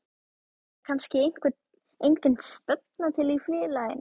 Eða er kannski engin stefna til í félaginu?